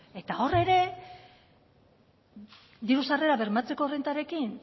eta hor ere diru sarrerak bermatzeko errentarekin